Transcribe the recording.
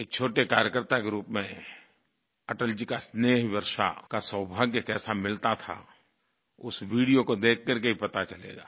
एक छोटे कार्यकर्ता के रूप में अटल जी का स्नेहवर्षा का सौभाग्य कैसा मिलता था उस वीडियो को देख करके ही पता चलेगा